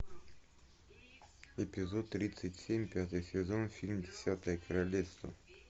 эпизод тридцать семь пятый сезон фильм десятое королевство